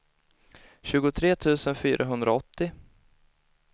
tjugotre tusen fyrahundraåttio